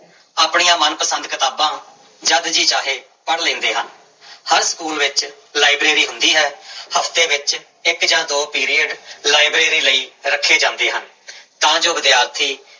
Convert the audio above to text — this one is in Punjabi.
ਆਪਣੀਆਂ ਮਨ ਪਸੰਦ ਕਿਤਾਬਾਂ ਜਦ ਜੀਅ ਚਾਹੇ ਪੜ੍ਹ ਲੈਂਦੇ ਹਾਂ ਹਰ ਸਕੂਲ ਵਿੱਚ ਲਾਇਬ੍ਰੇਰੀ ਹੁੰਦੀ ਹੈ ਹਫ਼ਤੇ ਵਿੱਚ ਇੱਕ ਜਾਂ ਦੋ ਪੀਰੀਅਡ ਲਾਇਬ੍ਰੇਰੀ ਲਈ ਰੱਖੇ ਜਾਂਦੇ ਹਨ ਤਾਂ ਜੋ ਵਿਦਿਆਰਥੀ